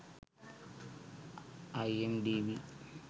imdb